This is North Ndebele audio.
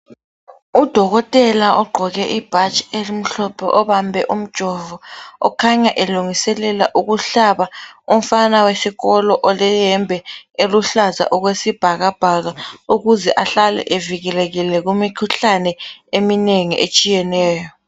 Udokotela ogqoke ibhatshi elimhlophe obambe umjovo okhanya elungiselela ukuhlaba umfana wesikolo oleyembe eluhlaza okwesibhakabhaka ukuze ahlale evikelekile kumikhuhlane eminengi etshiyeneyo.